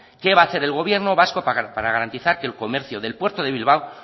qué va a hacer el gobierno vasco para garantizar que el comercio del puerto de bilbao